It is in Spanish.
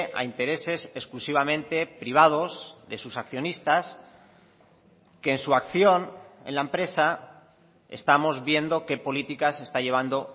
a intereses exclusivamente privados de sus accionistas que en su acción en la empresa estamos viendo qué políticas se está llevando